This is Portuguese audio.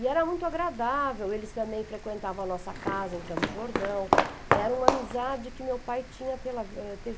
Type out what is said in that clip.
E era muito agradável, eles também frequentavam a nossa casa em Campos do Jordão, era uma amizade que meu pai tinha pela, ãh, teve